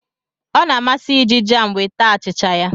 Ọ na-amasị ya iji jam wee taa achịcha ya